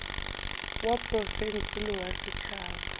wa profense le wa setšhaba